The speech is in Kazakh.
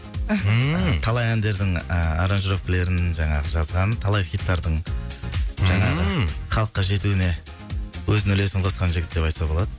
ммм талай әндердің ііі аранжировкілерін жаңағы жазған талай хиттардың ммм жаңағы халыққа жетуіне өзінің үлесін қосқан жігіт деп айтса болады